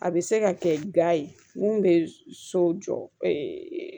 A bɛ se ka kɛ ga ye mun bɛ so jɔ